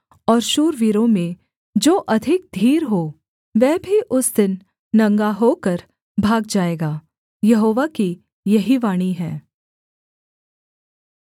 और शूरवीरों में जो अधिक धीर हो वह भी उस दिन नंगा होकर भाग जाएगा यहोवा की यही वाणी है